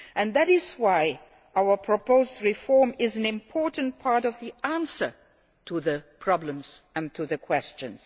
That is why our proposed reform is an important part of the answer to the problems and to the questions.